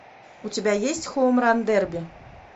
у тебя есть хоум ран дерби